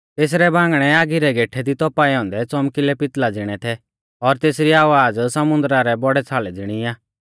तेसरै बांगणै आगी रै गेठै दी तौपाऐ औन्दै च़ौमकिलै पितल़ा ज़िणै थै और तेसरी आवाज़ समुन्दरा रै बौड़ै छ़ालै ज़िणी आ